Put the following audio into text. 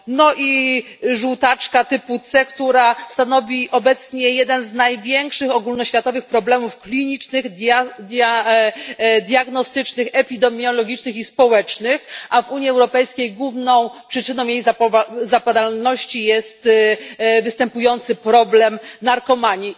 No i żółtaczka typu C, która stanowi obecnie jeden z największych ogólnoświatowych problemów klinicznych, diagnostycznych, epidemiologicznych i społecznych, a w Unii Europejskiej główną przyczyną jej zapadalności jest występujący problem narkomanii.